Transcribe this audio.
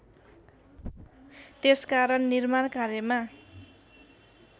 त्यसकारण निर्माण कार्यमा